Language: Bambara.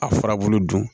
A furabulu dun